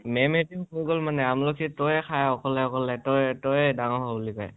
ma'am হ'তেও কৈ গ'ল মানে আমলখি তই খা অকলে অকলে, তই তই ডাঙৰ হ বুলি কয়